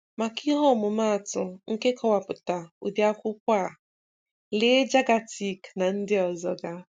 Maka ihe ọmụmaatụ nke nkọwapụta ụdị akwụkwọ a, lee Jagatic na ndị ozoga.